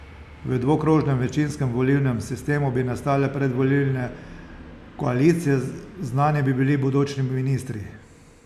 V dvokrožnem večinskem volilnem sistemu bi nastale predvolilne koalicije, znani bi bili bodoči ministri.